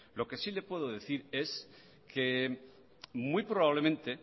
lo que sí le puedo decir es que muy probablemente